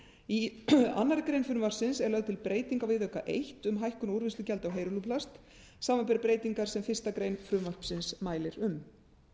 í annarri grein frumvarpsins er lögð til breyting á viðauka eitt um hækkun á úrvinnslugjaldi á heyrúlluplast samanber breytingar sem fyrstu grein frumvarpsins mælir um